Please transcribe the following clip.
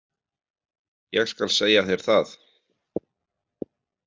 Ég skal segja þér það.